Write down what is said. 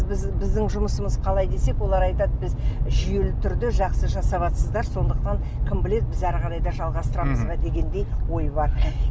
біз біздің жұмысымыз қалай десек олар айтады біз жүйелі түрде жақсы жасаватсыздар сондықтан кім біледі біз ары қарай да жалғастырамыз ба дегендей ой бар